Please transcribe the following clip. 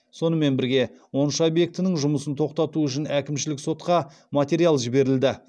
сонымен бірге он үш объектінің жұмысын тоқтату үшін әкімшілік сотқа материал жіберілді